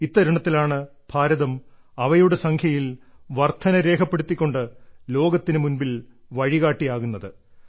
ഇത്തരുണത്തിലാണ് ഭാരതം അവയുടെ സംഖ്യയിൽ വർദ്ധന രേഖപ്പെടുത്തിക്കൊണ്ട് ലോകത്തിനു മുൻപിൽ വഴികാട്ടിയാകുന്നത്